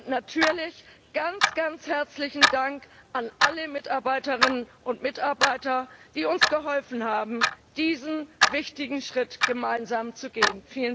Und natürlich ganz, ganz herzlichen Dank an alle Mitarbeiterinnen und Mitarbeiter, die uns geholfen haben, diesen wichtigen Schritt gemeinsam zu gehen.